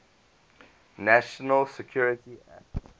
national security act